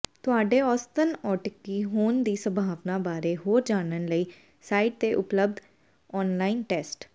ਤੁਹਾਡੇ ਔਸਤਨ ਔਟੀਿਕ ਹੋਣ ਦੀ ਸੰਭਾਵਨਾ ਬਾਰੇ ਹੋਰ ਜਾਣਨ ਲਈ ਸਾਈਟ ਤੇ ਉਪਲਬਧ ਔਨਲਾਈਨ ਟੈਸਟ